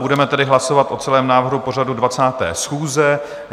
Budeme tedy hlasovat o celém návrhu pořadu 20. schůze.